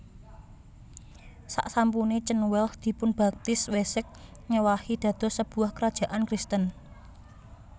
Saksampune Cenwealh dipunbaptis Wessex ngèwahi dados sebuah kerajaan Kristen